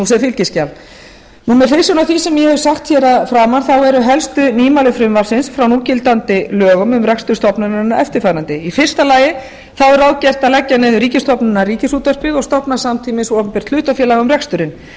sem fylgiskjal með hliðsjón af því sem ég hef sagt hér að framan eru helstu nýmæli frumvarpsins frá núgildandi lögum um rekstur stofnunarinnar eftirfarandi í fyrsta lagi er ráðgert að leggja niður ríkisstofnunina ríkisútvarpið og stofna samtímis opinbert hlutafélag um reksturinn